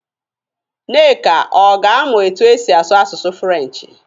Nneka ọ ga-amụ etu esi asụ asụsụ Furenchi?